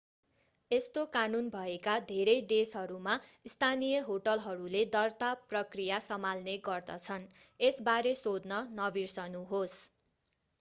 यस्तो कानुन भएका धेरै देशहरूमा स्थानीय होटलहरूले दर्ता प्रक्रिया सम्हाल्ने गर्दछन् यसबारे सोध्न नबिर्सनुहोस्।